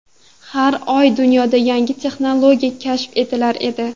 Har oy dunyoda yangi texnologiya kashf etilar edi.